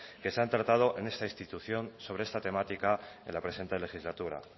que se han tratado en esta institución sobre esta temática en la presente legislatura